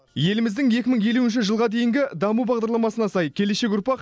еліміздің екі мың елуінші жылға дейінгі даму бағдарламасына сай келешек ұрпақ